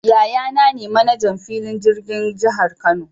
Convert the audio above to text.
Yaya naa ne 'manajan' filin jirgin jihar Kano.